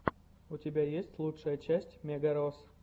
у тебя есть лучшая часть мегарос